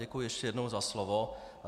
Děkuji ještě jednou za slovo.